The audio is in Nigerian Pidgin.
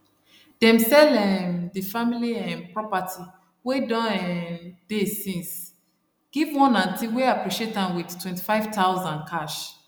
dem sell um di family um property wey don um dey since give one auntie wey appreciate am with 25000 cash